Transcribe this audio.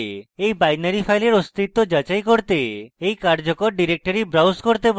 আপনি you binary file অস্তিত্ব যাচাই করতে you বর্তমান কার্যকর directory browse করতে পারেন